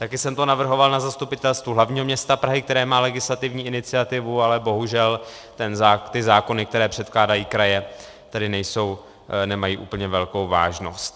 Také jsem to navrhoval na Zastupitelstvu hlavního města Prahy, které má legislativní iniciativu, ale bohužel ty zákony, které předkládají kraje, tedy nemají úplně velkou vážnost.